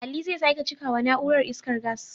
Ali zai sake cika wa na'urar, iskar gas.